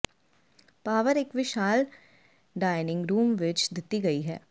power ਇੱਕ ਵਿਸ਼ਾਲ dining room ਵਿਚ ਦਿੱਤੀ ਗਈ ਹੈ